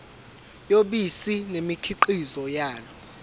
yobisi nemikhiqizo yalo